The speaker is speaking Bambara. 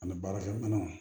Ani baarakɛminɛnw